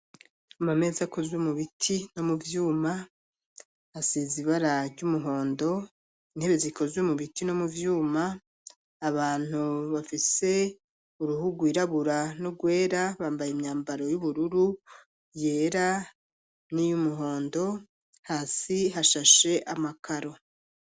Amameza akoze mu biti no mu vyuma, hasiz ibara ry'umuhondo, intebe zikozwe mu biti no mu vyuma, abantu bafise uruhu rwirabura n'ugwera bambaye imyambaro y'ubururu, yera, n'iyumuhondo, hasi hashashe amakaro.